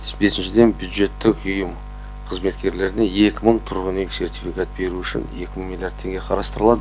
бесіншіден бюджеттік ұйым қызметкерлеріне екі мың тұрғын үй сертификат беру үшін екі миллиард теңге қарастырылды